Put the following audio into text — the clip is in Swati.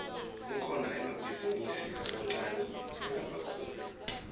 kukhona emabhizinidi lamaniane nalamakhulu